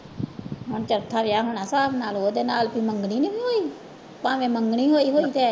ਹੁਣ ਚੌਥਾ ਵਿਆਹ ਹੋਣਾ ਨਾਲ ਉਹਦੇ ਨਾਲ ਵੀ ਮੰਗਣੀ ਨੀ ਸੀ ਹੋਈ, ਭਾਵੇਂ ਮੰਗਣੀ ਹੋਈ ਹੋਈ ਹੈ